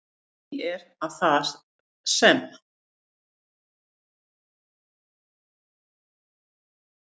Því er, að þar sem